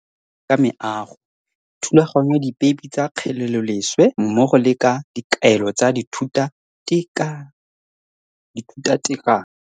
Ke dira gape le ka meago, thulaganyo ya dipeipe tsa kgeleloleswe mmogo le ka dikaelo tsa dithutatekanyo.